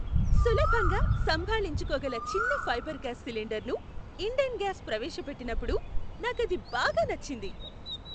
సులభంగా సంభాళించుకోగల చిన్న ఫైబర్ గ్లాస్ సిలిండరును ఇండేన్ గ్యాస్ ప్రవేశపెట్టినప్పుడు నాకది బాగా నచ్చింది.